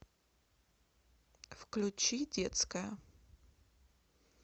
включи детская